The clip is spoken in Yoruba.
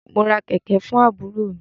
Mo ra kẹ̀kẹ̀ fún àbúrò mi.